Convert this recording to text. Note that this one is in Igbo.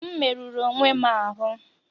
M merụrụ onwe m ahụ́